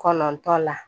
Kɔnɔntɔn la